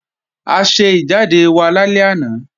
A ṣe ìjáde wa lálẹ́ àná